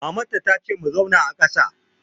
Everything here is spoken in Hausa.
Maman ta ta ce mu zauna a kàsa!